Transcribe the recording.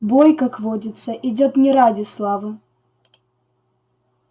бой как водится идёт не ради славы